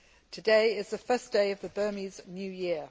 Today is the first day of the Burmese New Year.